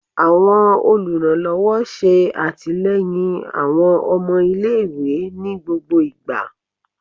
Awọn oluranlọwọ ṣe atilẹyin awọn ọmọ ile-iwe ni gbogbo igba